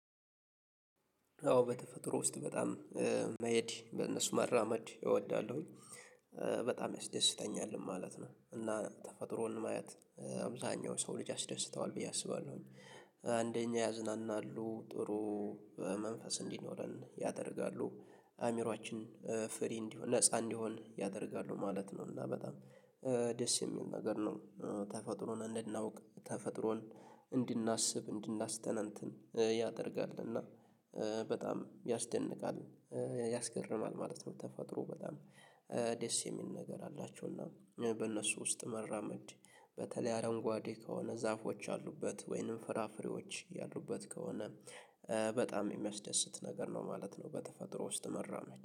አዎ በተፈጥሮ ውስጥ በጣም መሄድ በእነሱ መራመድ እወዳለሁኝ በጣም ያስደስተኛል ማለት ነው። እና ተፈጥሮን ማየት አብዛኛው ሰው ልጅ ያስደስተዋል ብዬ አስባለሁኝ። አንደኛ ያዝናናሉ ጥሩ መንፈስ እንዲኖረን ያደርጋሉ። አእምሮአችን ፍሪ እንዲሆን ነፃ እንዲሆን ያደርጋሉ ማለት ነው። እና በጣም ደስ የሚል ነገር ነው። ተፈጥሮን እንድናውቅ ተፈጥሮን እንድናስብ እንድናስተነትን ያደርጋል እና በጣም ያስደንቃል ያስገርማል ማለት ነው። ተፋጥሮ በጣም ደስ የሚል ነገር አላቸውና በእነሱ ውስጥ መራመድ በተለይ አረንጓዴ ከሆነ ዛፎች አሉበት ወይንም ፍራፍሬዎች ያሉበት ከሆነ በጣም የሚያስደስት ነገር ነው ማለት ነው። በተፈጥሮ ውስጥ መራመድ